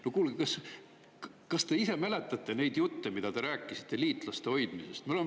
No kuulge, kas te ise mäletate neid jutte, mida te rääkisite liitlaste hoidmisest?